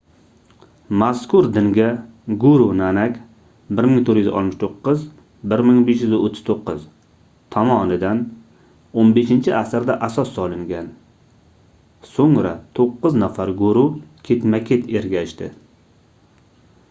mazkur dinga guru nanak 1469–1539 tomonidan 15-asrda asos solingan. so'ngra to'qqiz nafar guru ketma-ket ergashdi